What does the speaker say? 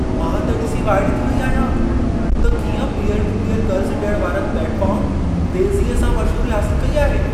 मां त ॾिसी वाइड़ी थी वई आहियां त कीअं पीयर-टू-पीयर क़र्ज़ु ॾियण वारनि प्लेटफार्म तेज़ीअ सां मशहूरी हासिल कई आहे।